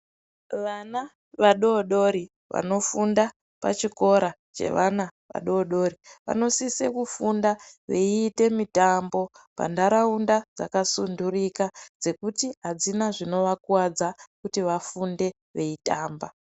Vana vadodori vanofunda pachikora chevana vadodori vanosise kufunda veite mitambo pandarawunda dzakasundurika, dzekuti hadzina zvinowakuwadza kuti vafunde veyitamba.